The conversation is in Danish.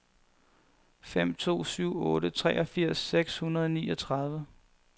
fem to syv otte treogfirs seks hundrede og niogtredive